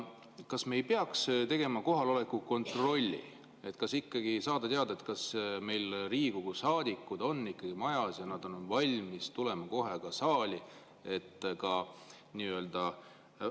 Kas me ei peaks tegema kohaloleku kontrolli, et saada teada, kas meil on Riigikogu saadikud ikka majas ja valmis tulema kohe saali?